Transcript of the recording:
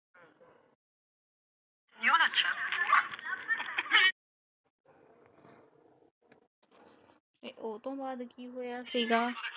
ਇਹ ਓਹਤੋਂ ਬਾਅਦ ਕਿ ਹੋਇਆ ਸੀ ਗਾ?